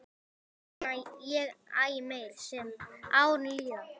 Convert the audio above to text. En þeirra sakna ég æ meir sem árin líða.